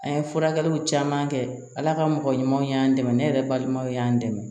An ye furakɛliw caman kɛ ala ka mɔgɔ ɲumanw y'an dɛmɛ ne yɛrɛ balimaw y'an dɛmɛ